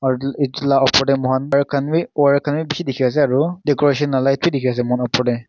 etu la oper te moi khan khan bishi dikhi ase aru decoration la light bi dikhi ase moi khan oper te.